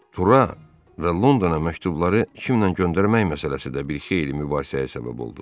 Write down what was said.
Tura və Londona məktubları kimlə göndərmək məsələsi də bir xeyli mübahisəyə səbəb oldu.